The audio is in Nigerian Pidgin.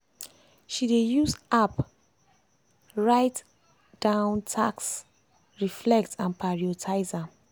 she dey use app write app write down tasks reflect and prioritize am.